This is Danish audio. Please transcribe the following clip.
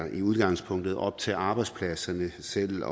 i udgangspunktet er op til arbejdspladserne selv